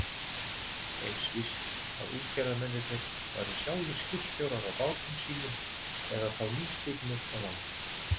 Eins víst að útgerðarmennirnir væru sjálfir skipstjórar á bátum sínum eða þá nýstignir á land.